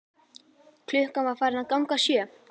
Klukkan var farin að ganga sjö.